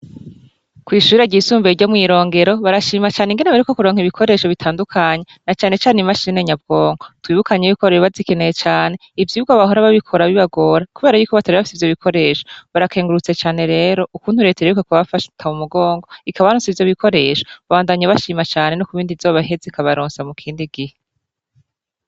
kw'ishure ryisumbuye ryo mw'Irongero, barashima cane ingene baheruka kuronka ibikoresho bitandukanye, na cane cane imashini nyabwoko . Twibukanye yuko bari bazikeneye cane , ivyigwa bahora babikora bibagora kubera yuko batari bafise ivyo bikoresho. Barakengurutse cane rero ukuntu Leta iherutse kubafata mumugongo ikabaronsa ivyo bikoresho. Babandanya bashima cane no kubind'izoheza ikabaronsa mukindi gihe.